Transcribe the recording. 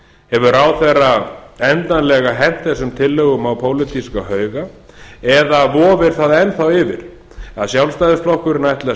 hefur ráðherra endanlega hent þessum tillögum á pólitíska hauga eða vofir það enn yfir að sjálfstæðisflokkurinn ætli að